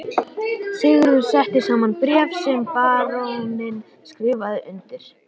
Sigurður setti saman bréf sem baróninn skrifaði undir.